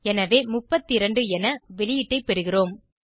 எனவே 32 என வெளியீட்டை பெறுகிறோம்